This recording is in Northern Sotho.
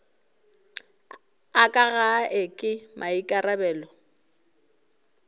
a ka gae ke maikarabelo